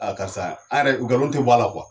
Aa karisa nkalon tɛ bɔ a la kuwa.